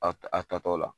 A a tatɔla